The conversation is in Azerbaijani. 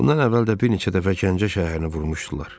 Bundan əvvəl də bir neçə dəfə Gəncə şəhərini vurmuşdular.